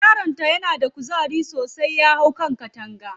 Yaron ta na da kuzari sosai, ya hau kan takanga.